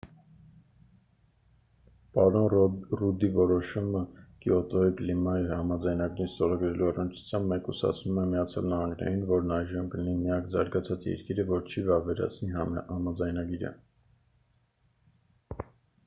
պարոն ռուդդի որոշումը կիոտոյի կլիմայի համաձայնագիրն ստորագրելու առնչությամբ մեկուսացնում է միացյալ նահանգներին որն այժմ կլինի միակ զարգացած երկիրը որը չի վավերացնի համաձայնագիրը